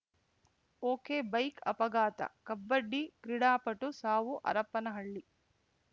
ಒಕೆಬೈಕ್‌ ಅಪಘಾತ ಕಬಡ್ಡಿ ಕ್ರೀಡಾಪಟು ಸಾವು ಹರಪ್ಪನಹಳ್ಳಿ